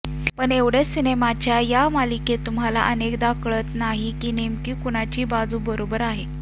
पण एवढ्या सिनेमांच्या या मालिकेत तुम्हाला अनेकदा कळत नाही की नेमकी कुणाची बाजू बरोबर आहे